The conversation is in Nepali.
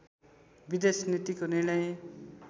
विदेश नीतिको निर्णय